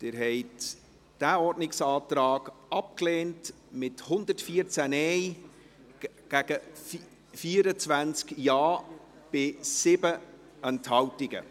Sie haben diesen Ordnungsantrag abgelehnt, mit 114 Nein- gegen 24 Ja-Stimmen bei 7 Enthaltungen.